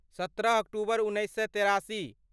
सत्रह अक्टूबर उन्नैस सए तेरासी